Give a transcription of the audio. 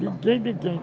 Ninguém, ninguém.